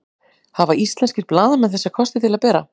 hafa íslenskir blaðamenn þessa kosti til að bera